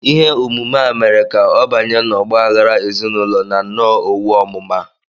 “Ihe omume a mere ka ọ banye n’ọgba aghara ezinụlọ na nnọọ owu ọmụma.